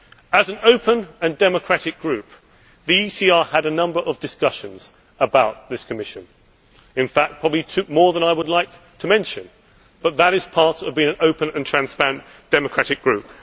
As an open and democratic group, the ECR had a number of discussions about this Commission in fact, probably more than I would like to mention but that is part of being an open and transparent democratic group.